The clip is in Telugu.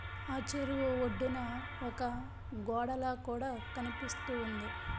ఆ చెరువు ఒడ్డున ఒక గోడల కూడ కనిపిస్తూ ఉంది.